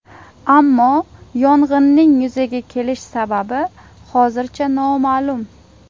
Ammo yong‘inning yuzaga kelish sababi hozircha noma’lum.